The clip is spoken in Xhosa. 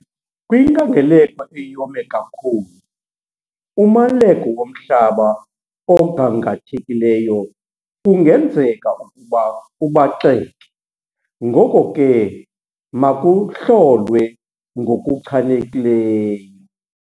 Kwinkangeleko eyome kakhulu, umaleko womhlaba ogangathekileyo kungenzeka ukuba ubaxeke, ngoko ke makuhlolwe ngokuchanekileyo.